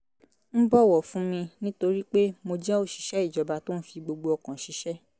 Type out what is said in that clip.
ń bọ̀wọ̀ fún mi nítorí pé mo jẹ́ òṣìṣẹ́ ìjọba tó ń fi gbogbo ọkàn ṣiṣẹ́